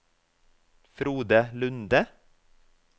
Frode Lunde